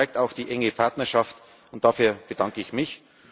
Das zeigt auch die enge Partnerschaft, und dafür bedanke ich